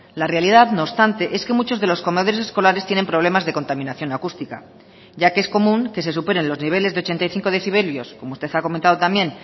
la realidad no obstante es que muchos de los comedores escolares tienen problemas de contaminación acústica ya que es común que se superen los niveles de ochenta y cinco decibelios como usted ha comentado también